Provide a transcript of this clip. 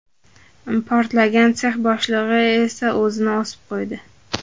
Portlagan sex boshlig‘i esa o‘zini osib qo‘ydi .